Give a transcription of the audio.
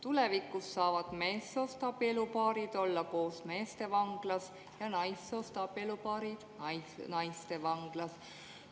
Tulevikus saavad meessoost abielupaarid olla koos meestevanglas ja naissoost abielupaarid naistevanglas.